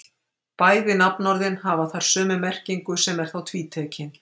Bæði nafnorðin hafa þar sömu merkingu sem er þá tvítekin.